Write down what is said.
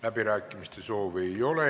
Läbirääkimiste soovi ei ole.